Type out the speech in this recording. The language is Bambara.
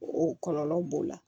O kɔlɔlɔ b'o la